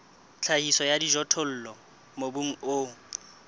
tlhahiso ya dijothollo mobung o